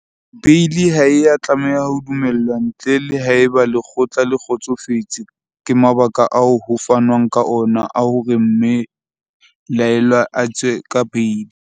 Beili ha e a tlameha ho dumellwa ntle le haeba lekgotla le kgotsofetse ke mabaka ao ho fanwang ka ona a hore mme laellwa a tswe ka beili.